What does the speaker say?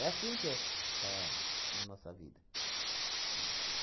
É assim que é está na nossa vida.